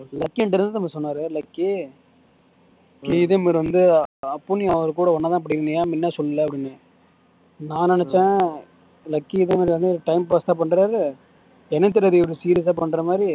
lucky எங்கிட்ட என்ன தெரியுமா சொன்னார் லக்கி இதே மாதிரி வந்து அப்பவும் நீ அவர்கூட ஒன்னா படிக்கணும் ஏன் முன்ன சொல்லல அப்படீன்னேன் நான் நினைச்சேன் லக்கி இதுவும் வந்து கொஞ்சம் time pass க்கு தான் பண்றார் எனக்கு தெரியாது இவர் serious ஆ பண்ற மாதிரி